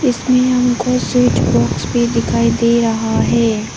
इसमें हमको switch box भी दिखाई दे रहा है।